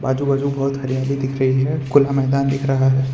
आजू बाजू बहोत हरियाली दिख रही है खुला मैदान दिख रहा है।